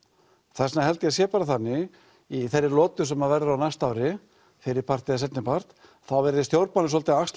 þess vegna held ég að það sé bara þannig í þeirri lotu sem verður á næsta ári fyrri part eða seinni part þá verði stjórnmálin svolítið að axla